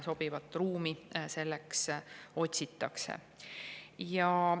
Sobivat ruumi selleks otsitakse.